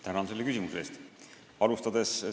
Tänan selle küsimuse eest!